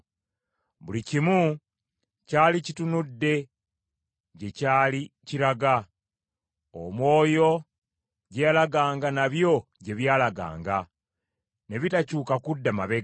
Buli kimu kyali kitunudde gye kyali kiraga. Omwoyo gye yalaganga nabyo gye byalaganga, ne bitakyuka kudda mabega.